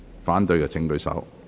反對的請舉手。